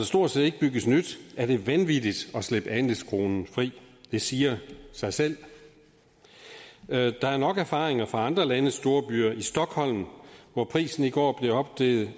stort set ikke bygges nyt er det vanvittigt at slippe andelskronen fri det siger sig selv der er nok erfaringer fra andre landes storbyer stockholm hvor prisen i går blev opgivet